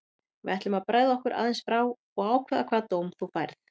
Við ætlum að bregða okkur aðeins frá og ákveða hvaða dóm þú færð.